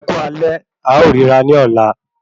Ẹkú alẹ́, a ó rírà ní ọ̀la